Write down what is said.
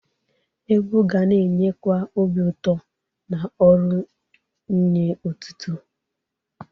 Egwu ga na-enyekwa obi ụtọ na ọrụ nye ọtụtụ.